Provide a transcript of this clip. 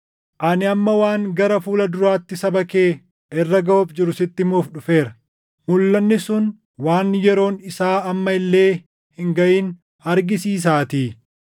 Ani amma waan gara fuula duraatti saba kee irra gaʼuuf jiru sitti himuuf dhufeera; mulʼanni sun waan yeroon isaa amma illee hin gaʼin argisiisaatii.”